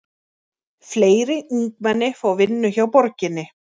Fleiri ungmenni fá vinnu hjá borginni